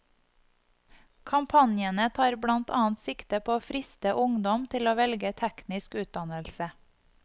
Kampanjene tar blant annet sikte på å friste ungdom til å velge teknisk utdannelse.